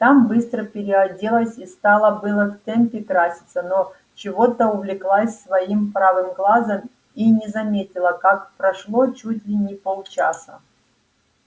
там быстро переоделась и стала было в темпе краситься но чего-то увлеклась своим правым глазом и не заметила как прошло чуть ли не полчаса